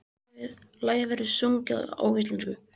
Lagið verður sungið á ensku